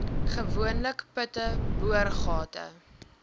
gewoonlik putte boorgate